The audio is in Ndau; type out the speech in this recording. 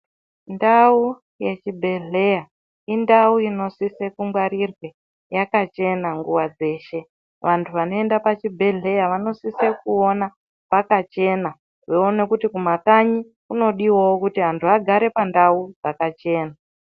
Ndau yechibhedhera indau inosise kungwarirwe yakachena nguwa dzeshe vantu vanoenda pachibhedhlera vanosise kuona pakachena veiona kuti kumakanyi kunodiwawo kuti vantu vagare pandau dzakachena.